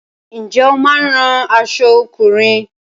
Ǹjẹ́ o máa ń rán aṣọ ọkùnrin?